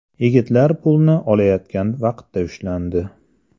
Yigitlar pulni olayotgan vaqtda ushlandi.